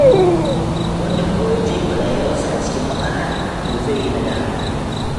Wanda kuwa ya jefa rayuwarsa cikin matsala, to zai yi nadama.